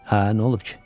Hə, nə olub ki?